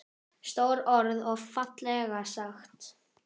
Stór orð og fallega sagt.